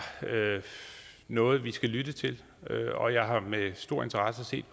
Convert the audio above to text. noget vi skal lytte til og jeg har med stor interesse set